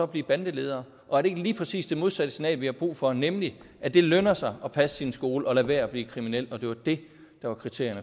blive bandeledere og er det ikke lige præcis det modsatte signal vi har brug for nemlig at det lønner sig at passe sin skole og lade være med at blive kriminel og det var det der var kriteriet